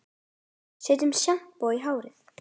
Setja sjampó í hárið?